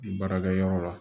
Baarakɛyɔrɔ la